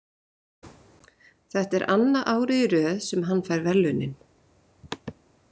Þetta er annað árið í röð sem hann fær verðlaunin.